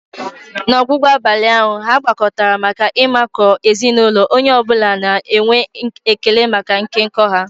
N'ọgwụgwụ abalị ahụ, ha gbakọtara maka ịmakụ ezinụlọ, onye ọ bụla na-enwe ekele maka nkekọ ha.